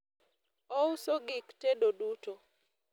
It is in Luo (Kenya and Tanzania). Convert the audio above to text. ouso gik tedo duto